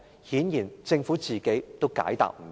顯然政府自己也解答不到。